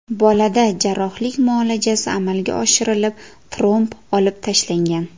Bolada jarrohlik muolajasi amalga oshirilib, tromb olib tashlangan.